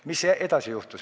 Mis edasi juhtus?